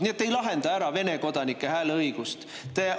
Nii et te ei lahenda ära Vene kodanike hääleõiguse.